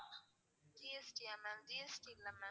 GST யா ma'am GST இல்ல ma'am.